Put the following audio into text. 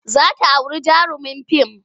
Za ta auri jarumin fim.